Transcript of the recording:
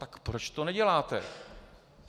Tak proč to neděláte?